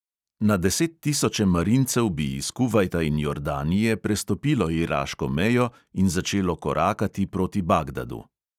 Na desettisoče marincev bi iz kuvajta in jordanije prestopilo iraško mejo in začelo korakati proti bagdadu.